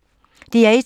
DR1